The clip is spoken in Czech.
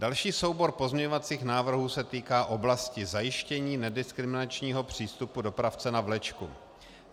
Další soubor pozměňovacích návrhů se týká oblasti zajištění nediskriminačního přístupu dopravce na vlečku.